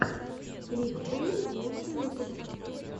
клик пэйнт лучший выпуск